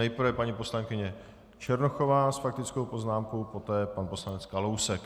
Nejprve paní poslankyně Černochová s faktickou poznámkou, poté pan poslanec Kalousek.